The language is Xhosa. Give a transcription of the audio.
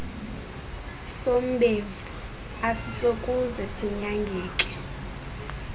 sombefu asisokuze sinyangeke